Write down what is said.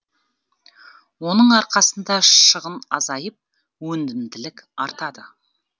оның арқасында шығын азайып өнімділік артады